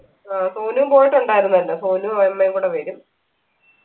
ആ സൊനൂം പോയിട്ടുണ്ടായിരുന്നല്ലോ സൊനൂം അമ്മയും കൂടെ വരും